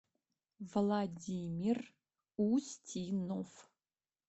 владимир устинов